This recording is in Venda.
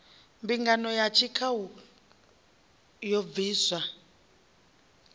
mbingano ya tshikhau i bviswa